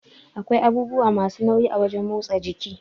Akwai abubuwa masu nauyi a wajan motsa jiki